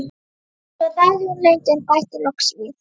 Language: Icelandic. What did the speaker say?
Svo þagði hún lengi en bætti loks við.